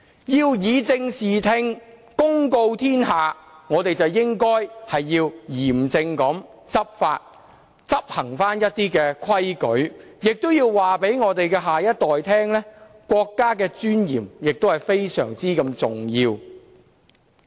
要以正視聽，公告天下，我們便應嚴正執法，執行規矩，亦要告訴我們的下一代，國家尊嚴是非常重要的。